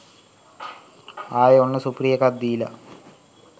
ආයේ ඔන්න සුපිරි එකක් දීලා.